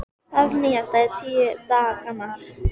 Háskólabyggingin á Melunum- undirbúningur og framkvæmdir